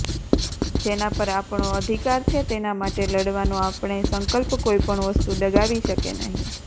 જેના પર આપણો અધિકાર છે તેના માટે લડવાનો આપણે સંકલ્પ કોઇપણ વસ્તુ ડગાવી શકે નહીં